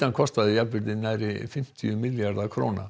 kostaði jafnvirði nærri fimmtíu milljarða króna